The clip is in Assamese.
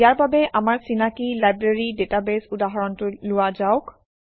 ইয়াৰ বাবে আমাৰ চিনাকি লাইব্ৰেৰী ডাটাবেছ উদাহৰণটো লোৱা যাওক